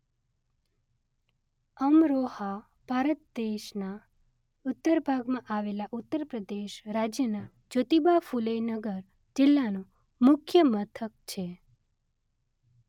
અમરોહા ભારત દેશના ઉત્તર ભાગમાં આવેલા ઉત્તર પ્રદેશ રાજ્યના જ્યોતિબા ફુલે નગર જિલ્લાનું મુખ્ય મથક છે.